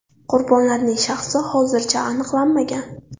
Qurbonlarning shaxsi hozircha aniqlanmagan.